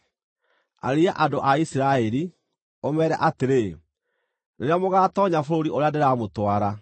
“Arĩria andũ a Isiraeli, ũmeere atĩrĩ: ‘Rĩrĩa mũgatoonya bũrũri ũrĩa ndĩramũtwara,